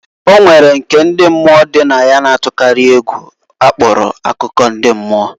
O nwere nke ndi mmụọ dị na ya na-atụkarị egwu akpọrọ akụkọ ndị mmụọ.